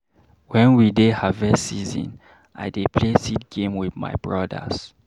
Wen we dey harvest season, I dey play seed game wit my brodas.